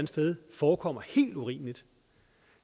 sted forekommer helt urimeligt